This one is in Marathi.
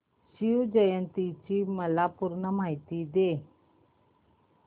शिवजयंती ची मला पूर्ण माहिती दे